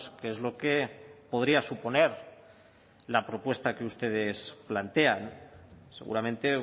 que es lo que podría suponer la propuesta que ustedes plantean seguramente